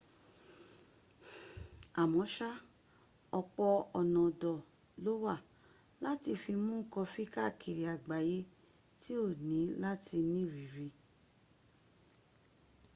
àmọ́sá ọ̀pọ̀ ọ̀nà ọ̀dọ̀ lówà láti fi mún kọfí káàkiri àgbáyé tí o ní láti nírìírí